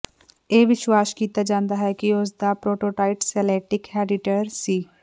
ਇਹ ਵਿਸ਼ਵਾਸ ਕੀਤਾ ਜਾਂਦਾ ਹੈ ਕਿ ਉਸ ਦਾ ਪ੍ਰੋਟੋਟਾਈਟ ਸੇਲਟਿਕ ਹੈੱਡਡੀਟਰ ਸੀ